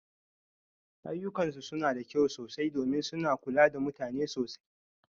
Ayyukansu suna da kyau sosai domin suna kula da mutane sosai.